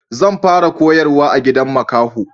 Zan fara koyarwa a gidan makaho